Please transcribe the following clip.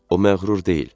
O məğrur deyil.